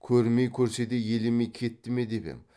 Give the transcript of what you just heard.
көрмей көрсе де елемей кетті ме деп ем